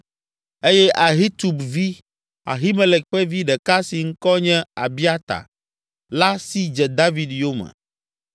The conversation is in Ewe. Eye Ahitub vi, Ahimelek ƒe vi ɖeka si ŋkɔ nye Abiata la si dze David yome.